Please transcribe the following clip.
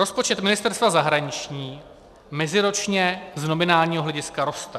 Rozpočet Ministerstva zahraničí meziročně z nominálního hlediska roste.